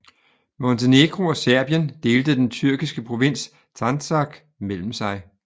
Montenegro og Serbien delte den tyrkiske provins Sandžak mellem sig